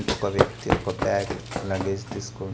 ఒక వ్యక్తి ఒక బ్యాగ్ లగేజ్ తీసుకో.